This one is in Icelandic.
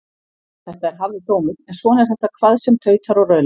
Þetta er harður dómur en svona er þetta hvað sem tautar og raular.